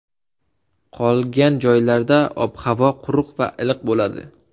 Qolgan joylarda ob-havo quruq va iliq bo‘ladi.